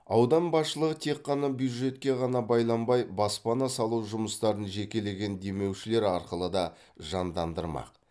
аудан басшылығы тек қана бюджетке ғана байланбай баспана салу жұмыстарын жекелеген демеушілер арқылы да жандандырмақ